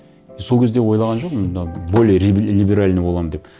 и сол кезде ойлаған жоқпын мынау более либеральный боламын деп